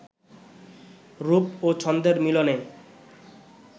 রূপ ও ছন্দের মিলনে